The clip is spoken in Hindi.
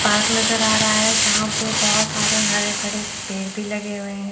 पार्क नजर आ रहा है जहां पे बहुत सारे हरे भड़े पड़े भी लगे हुए हैं।